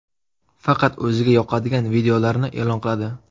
Faqat o‘ziga yoqadigan videolarni e’lon qiladi.